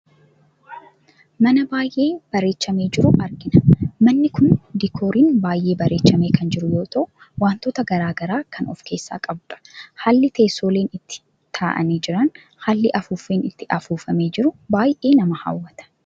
Mana baayyee bareechamee jiru argina. Manni kun diikooriin baayyee bareechamee kan jiru yoo ta'u wantoota gara garaa kan of keessaa qabu dha. Haalli teessooleen itti taa'anii jiran, haalli afuuffeen itti afuuffamee jiru baayye nama hawwata.